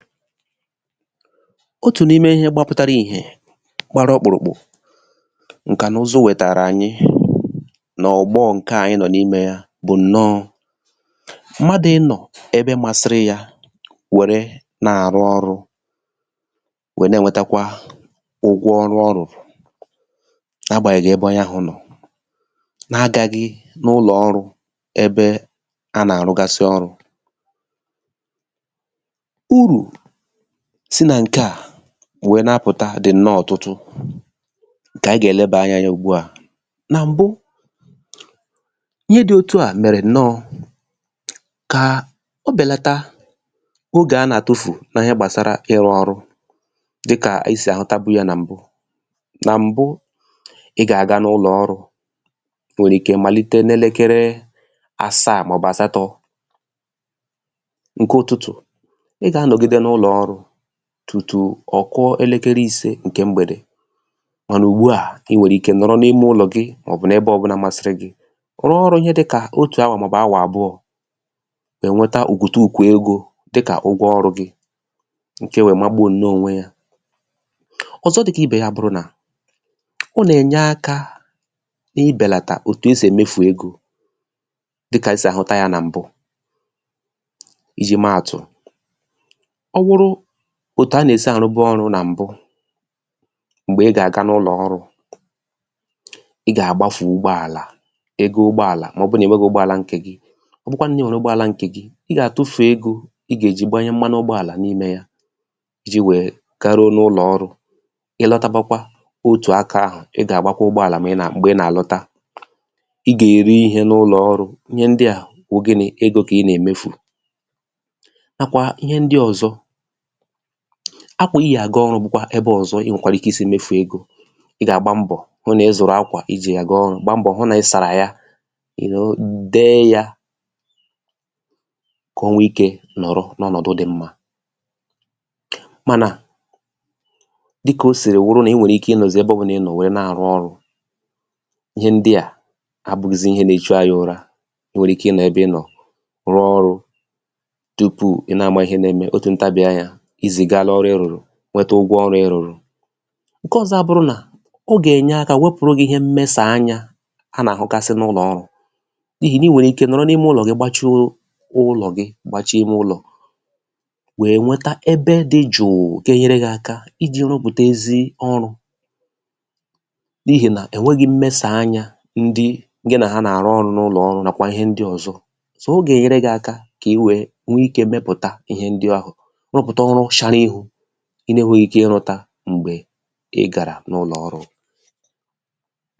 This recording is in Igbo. otù n’ime ịhẹ gbapụtara ìhẹ̀ gbara ọkpụ̀rụ̀kpụ̀, ǹkànụzụ wẹ̀tàrà ànyị nà ògbo ǹkẹ̀ a ànyị nọ̀ n’imē ya bụ̀ ǹnọ mmadù ị nọ̀ ebe masịrị ya wère nà àrụ ọrụ̄, wẹ nà ẹnwẹtẹkwa ụgwọ ọrụ ọ rụ̀rụ̀ n’ agbànyẹghị ẹbẹ onye ahụ̄ nọ̀ na agaghị n’ụlọ̀ ọrụ̄ ẹbẹ a nà àrụgasị ọrụ̄ urù sinà ǹkẹ̀ à wẹ na apụ̀ta dị̀ ǹnọ ọtụtụ ǹkẹ̀ anyị gà ẹ̀lẹbà anya ya ùgbu à nà m̀bụ, ịhẹ dị otua mẹ̀rẹ ǹnọ kà ọ bẹ̀lata ogè a nà àtufu na ịhẹ gbàsara ịrụ ọrụ dịkà esì àhụtabuya nà m̀bụ nà mbụ, ị gà àga n’ụlọ̀ ọrụ̄ ị nwẹ̀rẹ̀ ike màlite n’elekere àsaa mà ọ̀ bụ asatọ̄ ǹkẹ ụtụtụ̀ ị gà anọgide n’ụlọ̀ ọrụ̄ tùtù ọ̀ kụọ ẹlẹkẹrẹ ise ǹkẹ̀ mgbẹ̀dẹ̀ mà nà ùgbu à ị nwẹ̀rẹ̀ ike nọ̀rọ n’ime ụlọ̀ gị mà ọ̀ bụ̀ nae ̣bẹ ọbụnā masịrị gị rụọ ọrụ ịhẹ dịkà otù awà mà ọ̀ bụ̀ awà àbụọ è nweta òkòtukò egō dịkà ụgwọ ọrụ̄ gị ǹkẹ wẹ magbuo ǹnọ onwe ya ọ̀zọ dịkà ibè ya o nà ènyerụ akā ị bẹ̀làtà òtù e sì emefu egō dịkà anyị sì àhụta yā nà m̀bụ ijī mẹ àtụ̀ ọ bụrụ òtù a nà èsi àrụbụ ọrụ̄ nà m̀bụ m̀gbè ị gà àga n’ulọ̀ ọrụ̄ ị gà àgbafu ugbọàlà ego ugbọàlà mà ọ bụ nà ị̀ nweghi ugbọàlà ǹkè gi ọ bụkwanụ nà ị nwere ugbọàlà ǹkè gị ị gà àtufù egō ị gà èji gbanyẹ mmanụ ugbọàlà n’imē ya ijī wẹ garuo n’ulọ̀ ọrụ̄ ịlọtabakwa otù akā ahụ̀ ị gà àgbakwa ụgbọàlà m̀gbè ị nà àlọta ị gà èri ihe n’ulọ̀ ọrụ̄ ihẹ ndịà wụ egō kà ị nà èmefù nà kwà ihẹ ndị ọ̀zọ akwà ị yì àga ọrụ̄ bụ̀kwà ẹbẹ ọ̀zọ ị nwẹ̀kwàrà I si mefù egō ị gà àgba mbọ̀ hụ nà ị zụ̀rụ̀ akwà ịjì àga ọrụ gba mbọ̀ hụ nà ị sàrà ya de yā kà o nwe ikē nọ̀rọ n’ọnọ̀dụ dị mmā mànà dịkà o sìrì wụrụ nà ị nwèrè ike ịnọ̀zị ẹbẹ ọbụlà inọ̀ wẹ nà àrụ ọrụ̄ ihe ndịà abụghịzị ihe na echu anyị ụra, I nwèrè ike ị nọ ẹbẹ ị nọ̀ rụọ ọrụ̄ tupù ị̀ nà àma ịhẹ na ẹmẹ otù ntabì anyā I zìgara ọrụ ị rụ̀rụ̀ nwẹtẹ ụgwọ ọrụ ị rụ̀rụ̀ ǹkẹ ọzọ a bụrụ nà o gà ènye akā wẹpụrụ gī ịhẹ mmẹsà anyā a nà àhụgasị n’ụlọ̀ ọrụ̄ n’ihì nà ị nwẹ̀rẹ̀ ike nọ̀rọ̀ n’ime ụlọ̀ gị gbachuo ụlọ̀ gị gbachie ime ụlọ̀ wẹ̀ nwẹta ẹbẹ dị jụ̀ụ̀ ga ẹnyẹrẹ gị akā ijī rụpụ̀ta ezi ọrụ̄ n’ihì nà ẹ̀nwẹghị mmẹsà anyā ndị gị nà ha nà àrụ ọrụ̄ n’ụlọ̀ ọrụ̄ nàkwà ịhẹ ndị ọzọ o gàènyere gị aka kà ị wẹ nwẹ ikē mẹpụ̀ta ihẹ ndị ahụ̀ rụpụ̀ta ọrụ shara iru ị na ẹnwẹghị ike ịrụ̄ta m̀gbẹ̀ ị gàrà n’ụlọ̀ ọrụ̄